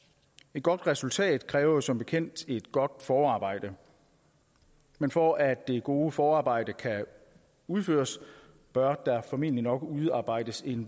et godt resultat kræver som bekendt et godt forarbejde men for at det gode forarbejde kan udføres bør der formentlig udarbejdes en